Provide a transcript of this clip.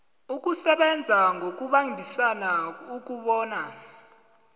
ukusebenza ngokubambisana ukobana